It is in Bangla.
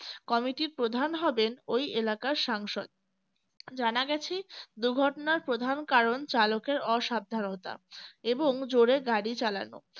কমিটির প্রধান হবেন ওই এলাকার সাংসদ জানা গেছে দুর্ঘটনার প্রধান কারণ চালকের অসাবধানতা এবং জোরে গাড়ি চালানো